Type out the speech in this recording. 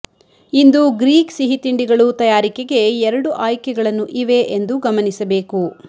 ಇಂದು Greek ಸಿಹಿತಿಂಡಿಗಳು ತಯಾರಿಕೆಗೆ ಎರಡು ಆಯ್ಕೆಗಳನ್ನು ಇವೆ ಎಂದು ಗಮನಿಸಬೇಕು